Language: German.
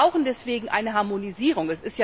Wir brauchen deswegen eine Harmonisierung.